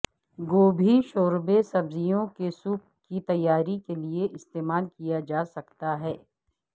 گوبھی شوربے سبزیوں کے سوپ کی تیاری کے لئے استعمال کیا جا سکتا ہے